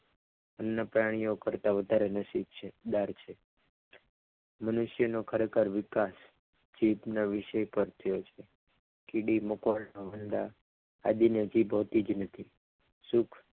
અન્ય પ્રાણીઓ કરતા વધારે નસીબ છ મનુષ્યનો ખરેખર વિકાસ ચેપનો વિષય પરખ્યો છે કીડી મકોડા એ બધા આદિને જીભ હોતી જ નથી.